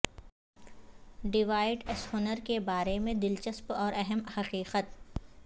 devout Eisenhower کے بارے میں دلچسپ اور اہم حقیقت